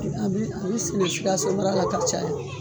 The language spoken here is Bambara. A bi a bi sɛnɛ sikasomara la ka caya.